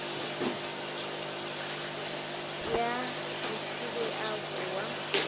ya th e a boa